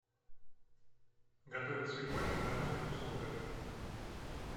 готовить свекольник в домашних условиях